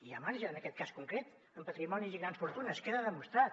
hi ha marge en aquest cas concret en patrimonis i grans fortunes queda demostrat